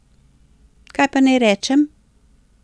Kaj pa naj rečem?